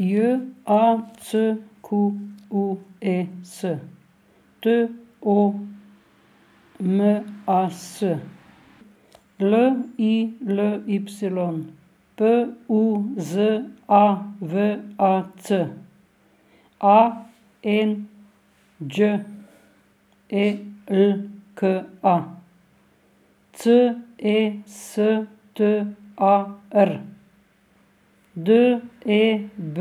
J A C Q U E S, T O M A S; L I L Y, P U Z A V A C; A N Đ E L K A, C E S T A R; D E B